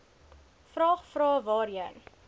vraag vrae waarheen